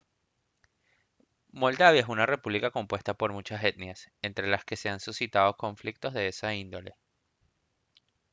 moldavia es una república compuesta por muchas etnias entre las que se han suscitado conflictos de esa índole